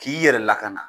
K'i yɛrɛ lakana